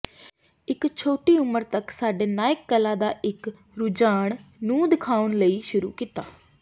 ਇੱਕ ਛੋਟੀ ਉਮਰ ਤੱਕ ਸਾਡੇ ਨਾਇਕ ਕਲਾ ਦਾ ਇੱਕ ਰੁਝਾਨ ਨੂੰ ਦਿਖਾਉਣ ਲਈ ਸ਼ੁਰੂ ਕੀਤਾ